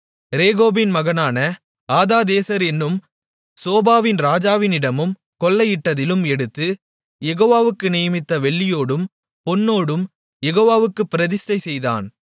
ரேகோபின் மகனான ஆதாதேசர் என்னும் சோபாவின் ராஜாவினிடமும் கொள்ளையிட்டதிலும் எடுத்து யெகோவாவுக்கு நியமித்த வெள்ளியோடும் பொன்னோடும் யெகோவாவுக்குப் பிரதிஷ்டை செய்தான்